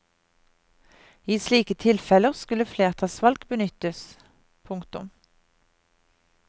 I slike tilfeller skulle flertallsvalg benyttes. punktum